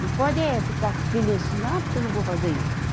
Não pode é ficar com aquilo, assim, ah, porque eu não vou fazer isso.